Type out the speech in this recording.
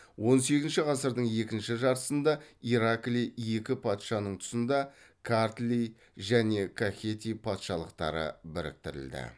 он сегізінші ғасырдың екінші жартысында ираклий екі патшаның тұсында картли және кахети патшалықтары біріктірілді